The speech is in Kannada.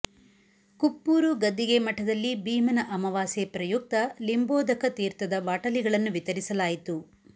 ಕುಪ್ಪೂರು ಗದ್ದಿಗೆ ಮಠದಲ್ಲಿ ಭೀಮನ ಅಮಾವಾಸ್ಯೆ ಪ್ರಯುಕ್ತ ಲಿಂಬೋಧಕ ತೀರ್ಥದ ಬಾಟಲಿಗಳನ್ನು ವಿತರಿಸಲಾಯಿತು